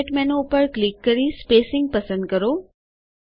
format menu ઉપર click કરી spacing પસંદ કરો